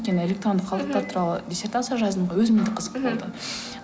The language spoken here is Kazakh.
өйткені электрондық қалдықтар туралы диссертация жаздым ғой өзіме де қызықты болды